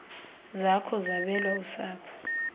zakho zabelwa usapho